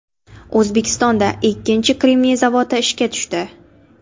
O‘zbekistonda ikkinchi kremniy zavodi ishga tushdi.